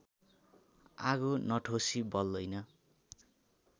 आगो नठोसी बल्दैन